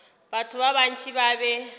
batho ba bantši ba be